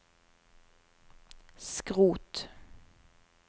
skrot